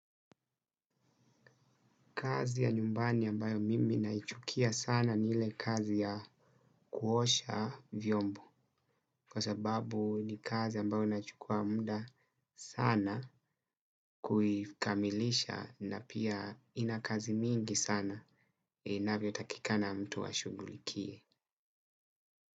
Kazi ya nyumbani ambayo mimi naichukia sana ni ile kazi ya kuosha vyombo kwa sababu ni kazi ambayo inachukua muda sana kuikamilisha na pia ina kazi mingi sana inavyo takikana mtu ashugulikie.